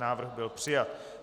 Návrh byl přijat.